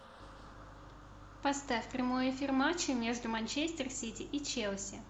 поставь прямой эфир матча между манчестер сити и челси